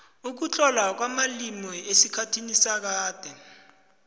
ukutlolwa kwamalimi esikhathini sakade